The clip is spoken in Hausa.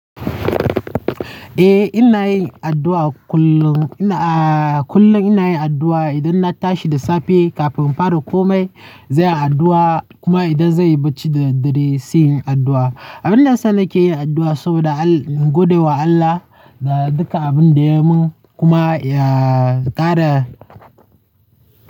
Eh ina yin addu'a kullum. Ina, kullum ina yin addu'a idan na tashi da safe, kafin in fara komai zan yi addu'a kuma idan zai yi bacci da dare sai yin addu'a. Abin nasa nake yin addu'a saboda godiya wa Allah da duka abin da ya mun kuma ya kara.